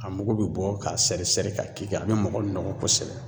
A mugu bɛ bɔ k'a sɛri sɛri ka k'i kan a bɛ mɔgɔ nɔgɔ kosɛbɛ.